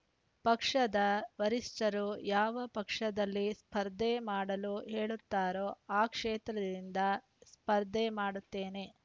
ಪಕ್ಷದ ವರಿಷ್ಠರು ಯಾವ ಪಕ್ಷದಲ್ಲಿ ಸ್ಪರ್ಧೆ ಮಾಡಲು ಹೇಳುತ್ತಾರೋ ಆ ಕ್ಷೇತ್ರದಿಂದ ಸ್ಪರ್ಧೆ ಮಾಡುತ್ತೇನೆ